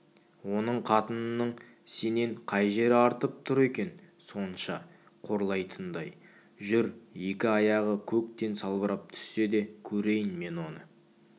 оның қатынының сенен қай жері артып тұр екен сонша қорлайтындай жүр екі аяғы көктен салбырап түссе де көрейін мен оны